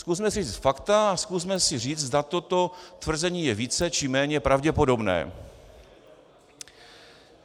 Zkusme si vzít fakta a zkusme si říci, zda toto tvrzení je více, či méně pravděpodobné.